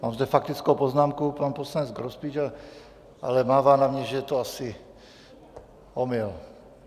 Mám zde faktickou poznámku - pan poslanec Grospič, ale mává na mě, že to je asi omyl.